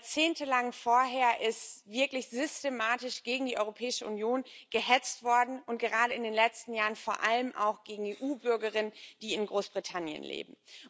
Jahrzehntelang vorher ist wirklich systematisch gegen die Europäische Union gehetzt worden, und gerade in den letzten Jahren vor allem auch gegen EU Bürgerinnen und —Bürger, die in Großbritannien leben.